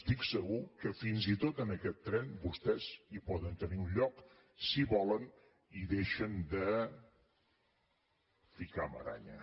estic segur que fins i tot en aquest tren vostès hi poden tenir un lloc si volen i deixen de ficar maraña